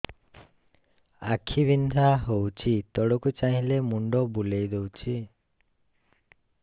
ଆଖି ବିନ୍ଧା ହଉଚି ତଳକୁ ଚାହିଁଲେ ମୁଣ୍ଡ ବୁଲେଇ ଦଉଛି